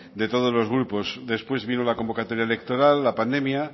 de todos los grupos después vino la convocatoria electoral la pandemia